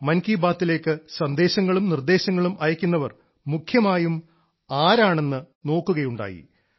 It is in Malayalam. മൻ കി ബാത്തിലേക്ക് സന്ദേശങ്ങളും നിർദ്ദേശങ്ങളും അയക്കുന്നവർ മുഖ്യമായും ആരാണെന്ന് നോക്കുകയുണ്ടായി